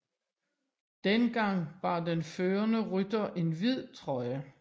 Dengang bar den førende rytter en hvid trøje